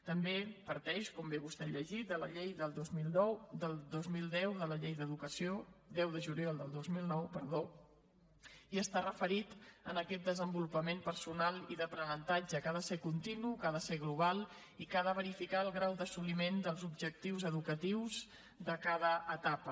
també parteix com bé vostè ha llegit de la llei del dos mil deu de la llei d’educació deu de juliol del dos mil nou perdó i està referit a aquest desenvolupament personal i d’aprenentatge que ha de ser continu que ha de ser global i que ha de verificar el grau d’assoliment dels objectius educatius de cada etapa